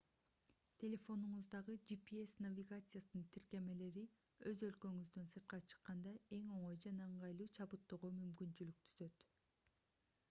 телефонуңуздагы gps навигациясынын тиркемелери өз өлкөңүздөн сыртка чыкканда эң оңой жана ыңгайлуу чабыттоого мүмкүнчүлүк түзөт